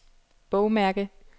bogmærke